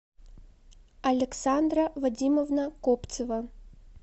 александра вадимовна копцева